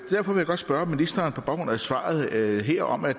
godt spørge ministeren på baggrund af svaret her om at